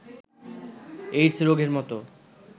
AIDS রোগের মতো